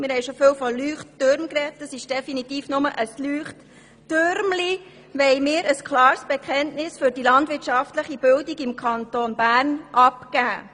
Mit diesem «Leuchttürmchen» wollen wir ein klares Bekenntnis für die landwirtschaftliche Bildung im Kanton Bern abgeben.